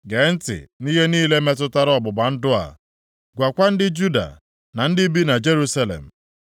“Gee ntị nʼihe niile metụtara ọgbụgba ndụ a, gwakwa ndị Juda, na ndị bi na Jerusalem.